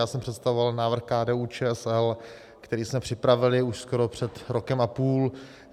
Já jsem představoval návrh KDU-ČSL, který jsme připravili už skoro před rokem a půl.